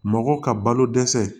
Mɔgɔ ka balo dɛsɛ